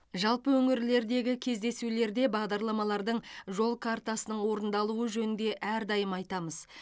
жалпы өңірлердегі кездесулерде бағдарламалардың жол картасының орындалуы жөнінде әрдайым айтамыз